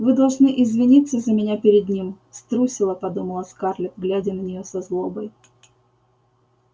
вы должны извиниться за меня перед ним струсила подумала скарлетт глядя на неё со злобой